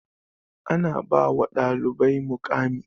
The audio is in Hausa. Ana ba wa ɗalibari muƙami